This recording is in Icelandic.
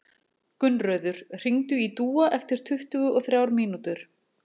Gunnröður, hringdu í Dúa eftir tuttugu og þrjár mínútur.